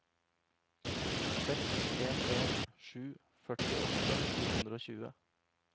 seks en en sju førtiåtte fire hundre og tjue